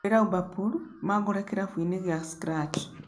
hũrira uber pool mangore kĩrabũ-ini gia scratch